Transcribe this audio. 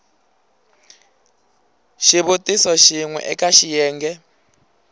xivutiso xin we eka xiyenge